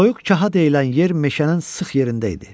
Soyuq kaha deyilən yer meşənin sıx yerində idi.